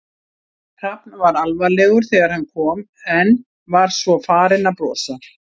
Hrafn var alvarlegur þegar hann kom en var svo farinn að brosa.